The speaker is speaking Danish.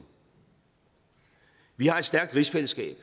vi har et stærkt rigsfællesskab